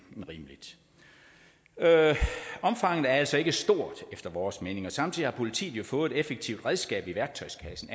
end rimeligt omfanget er altså ikke stort efter vores mening og samtidig har politiet jo fået et effektivt redskab i værktøjskassen